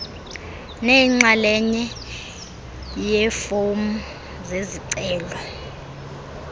neyinxalenye yeefomu zezicelo